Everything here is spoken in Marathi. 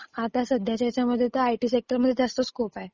आता सद्धयाच्या ह्याच्यामध्ये आयटी सेक्टर मध्ये जास्त स्कोप आहे